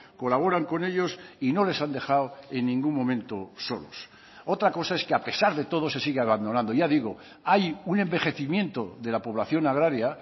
colaboran con ellos y no les han dejado en ningún momento solos otra cosa es que a pesar de todo se sigue abandonando ya digo hay un envejecimiento de la población agraria